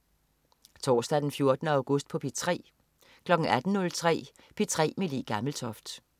Torsdag den 14. august - P3: